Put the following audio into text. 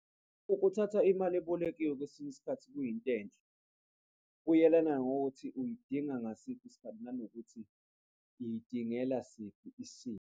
Ukuthatha imali ebolekiwe kwesinye isikhathi kuyinto enhle, kuyelana ngokuthi uyidinga ngasiphi isikhathi nanokuthi uyidingela siphi isimo.